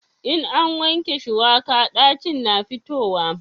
in an wanke shuwaka ɗacin na fitowa